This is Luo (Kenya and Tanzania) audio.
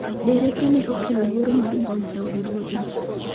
Derepe ne okelo luoro mar mbom e od ruoth no.